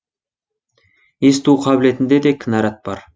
есту қабілетінде де кінарат бар